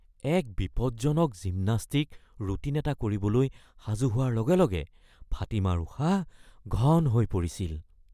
এক বিপদজনক gymnastic routine এটা কৰিবলৈ সাজু হোৱাৰ লগে লগে ফাতিমাৰ উশাহ ঘন হৈ পৰিছিল